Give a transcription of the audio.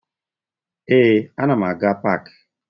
Ee, ana m aga paakị